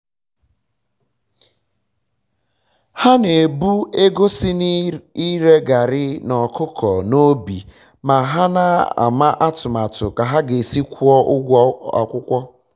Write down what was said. ha na-ebu ego si na ire garrị na ọkụkọ n'obi ma ha na-ama atụmatụ ka ha ga esi kwụọ ụgwọ akwụkwọ